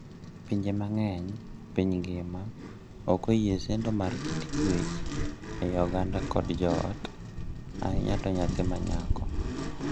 Pinje mang’eny e piny ngima ok oyie sendo mag kit chuech ei oganda kod joot, ahinya to nyathi ma nyako.